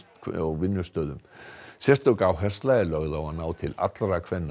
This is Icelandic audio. vinnustöðum sérstök áhersla er lögð á að ná til allra kvenna